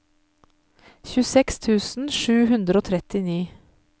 tjueseks tusen sju hundre og trettini